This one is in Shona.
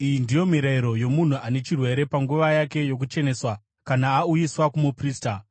“Iyi ndiyo mirayiro yomunhu ane chirwere panguva yake yokucheneswa kana auyiswa kumuprista: